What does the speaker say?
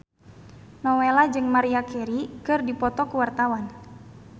Nowela jeung Maria Carey keur dipoto ku wartawan